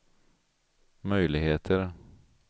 möjligheter